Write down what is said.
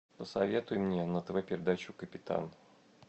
посоветуй мне на тв передачу капитан